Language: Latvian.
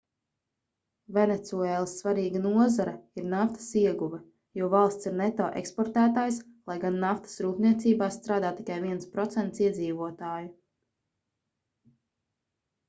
venecuēlas svarīga nozare ir naftas ieguve jo valsts ir neto eksportētājs lai gan naftas rūpniecībā strādā tikai 1% iedzīvotāju